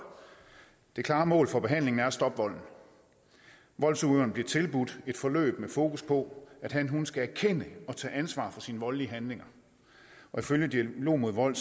det klare mål for behandlingen er at stoppe volden voldsudøveren bliver tilbudt et forløb med fokus på at hanhun skal erkende og tage ansvar for sine voldelige handlinger ifølge dialog mod vold